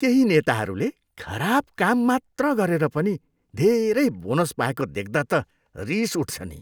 केही नेताहरूले खराब काम मात्र गरेर पनि धेरै बोनस पाएको देख्दा त रिस उठ्छ नि।